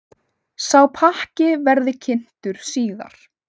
Sá pakki verði kynntur síðar.